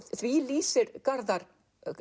því lýsir Garðar